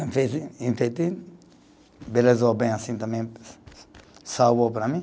Enfetei, enfeitei, embelezou bem assim também, salvou para mim.